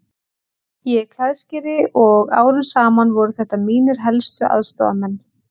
Ég er klæðskeri og árum saman voru þetta mínir helstu aðstoðarmenn.